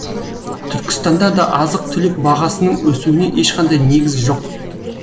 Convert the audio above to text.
түркістанда да азық түлік бағасының өсуіне ешқандай негіз жоқ